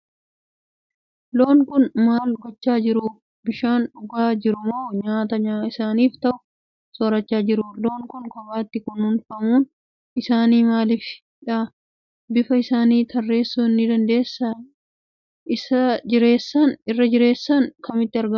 Loon kun maal gochaa jiru? Bishaan dhugaa jiru moo Nyaata isaaniif ta'u soorachaa jiru? Loon kun kophaatti kunuunfamuun isaanii maaliifi dha? Bifa isaanii tarreessuu ni dandeessaa? Irra jireessaan biyya kamitti argamu?